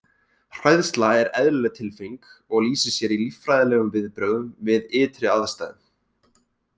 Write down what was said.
Hræðsla er eðlileg tilfinning og lýsir sér í líffræðilegum viðbrögðum við ytri aðstæðum.